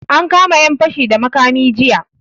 An kama yan fashi da makami jiya.